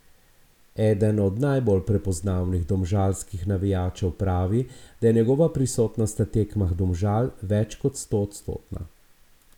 Eden od najbolj prepoznavnih domžalskih navijačev pravi, da je njegova prisotnost na tekmah Domžal več kot stoodstotna.